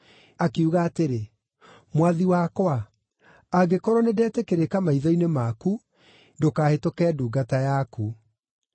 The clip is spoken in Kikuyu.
Akiuga atĩrĩ, “Mwathi wakwa, angĩkorwo nĩndetĩkĩrĩka maitho-inĩ maku, ndũkahĩtũke ndungata yaku.